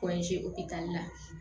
la